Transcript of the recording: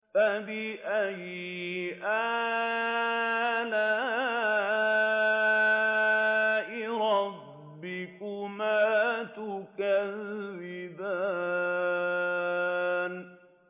فَبِأَيِّ آلَاءِ رَبِّكُمَا تُكَذِّبَانِ